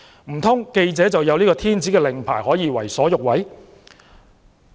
難道記者有天子令牌，可以為所欲為？